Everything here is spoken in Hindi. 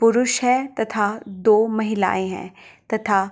पुरुष है तथा दो महिलाए हैं तथा --